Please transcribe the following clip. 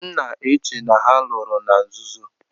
M na-che na ha lụrụ na nzuzo.